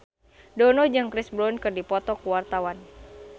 Dono jeung Chris Brown keur dipoto ku wartawan